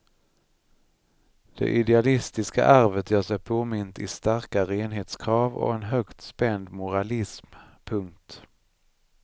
Det idealistiska arvet gör sig påmint i starka renhetskrav och en högt spänd moralism. punkt